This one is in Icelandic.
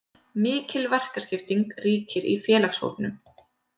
Mikil verkaskipting ríkir í félagshópnum.